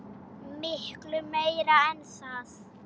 Miklu meira en það.